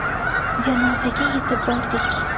Janozaga yetib bordik.